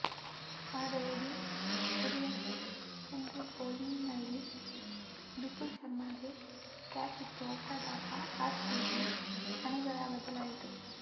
ಆದರೆ de Villiers Henriques ಬೌಲಿಂಗ್ನಲ್ಲಿ ಬಿಪುಲ್ ಶರ್ಮಾಗೆ ಕ್ಯಾಚಿತ್ತು ಔಟಾದಾಗ ಆರ್ ಸಿಬಿ ಹಣೆಬರಹ ಬದಲಾಯಿತು